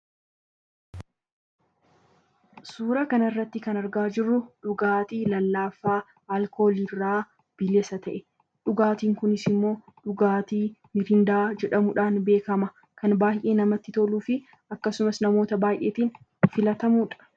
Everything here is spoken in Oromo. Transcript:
Suuraa kanarratti kan argaa jirru dhugaatii lallaafaa alkooliirraa bilisa ta'e dhugaatiin kunis immoo dhugaatii mirindaa jedhamuudhaan beekama. Kan baay'ee namatti toluu fi akkasumas namoota baay'eetiin filatamudha.